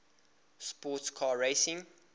sports car racing